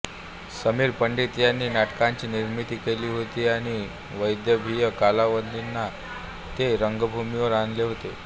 समीर पंडित यांनी नाटकाची निर्मिती केली होती आणि वैदर्भीय कलावंतांनी ते रंगभूमीवर आणले होते